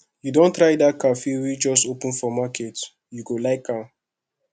you don try dat cafe wey just open for market you go like am